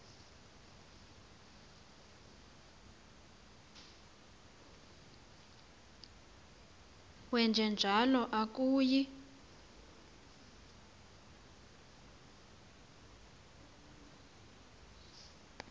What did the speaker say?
wenje njalo akuyi